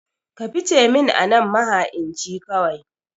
Ka fice min anan maha'inci kawai